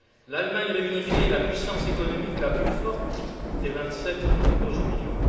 L'Allemagne réunifiée est la puissance économique la plus forte des vingt sept qui composent l'Union.